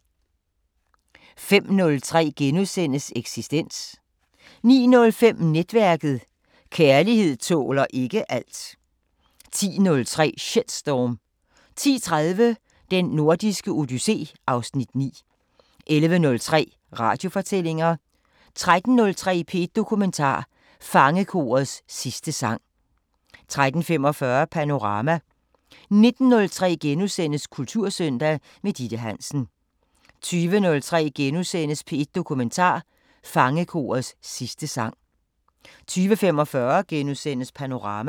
05:03: Eksistens * 09:05: Netværket: Kærligheden tåler ikke alt 10:03: Shitstorm 10:30: Den Nordiske Odyssé (Afs. 9) 11:03: Radiofortællinger 13:03: P1 Dokumentar: Fangekorets sidste sang 13:45: Panorama 19:03: Kultursøndag – med Ditte Hansen * 20:03: P1 Dokumentar: Fangekorets sidste sang * 20:45: Panorama *